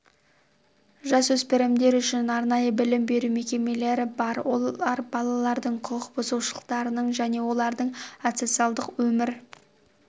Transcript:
жасөспірімдер үшін арнайы білім беру мекемелері бар олар балалардың құқық бұзушылықтарының және олардың асоциальдық өмір